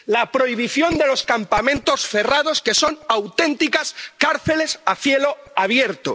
la prohibición de los campamentos cerrados, que son auténticas cárceles a cielo abierto